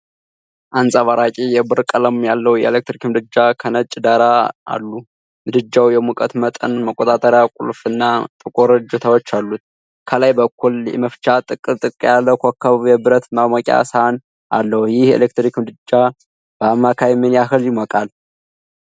አንጸባራቂ የብር ቀለም ያለው የኤሌክትሪክ ምድጃ ከነጭ ዳራ አሉ። ምድጃው የሙቀት መጠን መቆጣጠሪያ ቁልፍ እና ጥቁር እጀታዎች አሉት። ከላይ በኩል የመፍቻ ጥቅል ያለው ክብ የብረት ማሞቂያ ሰሃን አለው። ይህ የኤሌክትሪክ ምድጃ በአማካይ ምን ያህል ይሞቃል?